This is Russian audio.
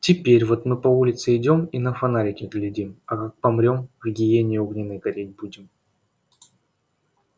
теперь вот мы по улице идём и на фонарики глядим а как помрём в гиене огненной гореть будем